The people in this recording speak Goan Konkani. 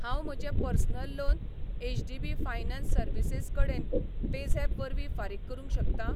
हांव म्हजें personal loan HDB finance services कडेन पेझॅप वरवीं फारीक करूंक शकतां?